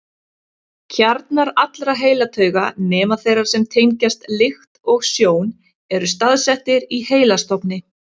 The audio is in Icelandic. Kjarnar allra heilatauga, nema þeirra sem tengjast lykt og sjón, eru staðsettir í heilastofni.